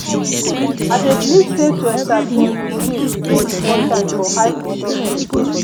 i dey believe sey to establish routines dey important for high productive day.